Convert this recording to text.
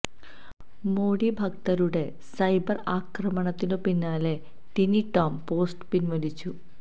മോഡി ഭക്തരുടെ സൈബര് ആക്രമണത്തിനു പിന്നാലെ ടിനി ടോം പോസ്റ്റ് പിന്വലിച്ചു